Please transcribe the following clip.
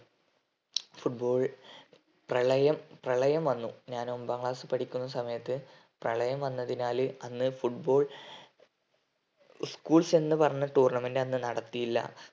football പ്രളയം പ്രളയം വന്നു ഞാൻ ഒമ്പതാം class ൽ പഠിക്കുന്ന സമയത്ത് പ്രളയം വന്നതിനാൽ അന്ന് football schools എന്നു പറഞ്ഞ tournament അന്ന് നടത്തിയില്ല